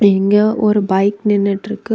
இங்க ஒரு பைக் நின்னுட்டிருக்கு.